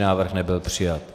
Návrh nebyl přijat.